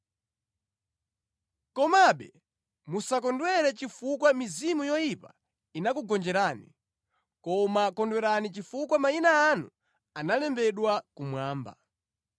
Komabe musakondwere chifukwa mizimu yoyipa inakugonjerani, koma kondwerani chifukwa mayina anu analembedwa kumwamba.”